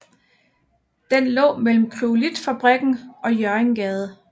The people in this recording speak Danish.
Den lå mellem Kryolitfabrikken og Hjørringgade